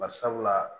Barisabula